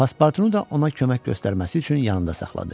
Pasportunu da ona kömək göstərməsi üçün yanında saxladı.